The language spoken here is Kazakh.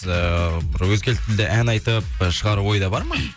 ыыы бір өзге тілде ән айтып шығару ойда бар ма